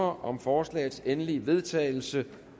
om forslagets endelige vedtagelse